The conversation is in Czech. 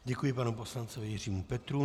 Děkuji panu poslanci Jiřímu Petrů.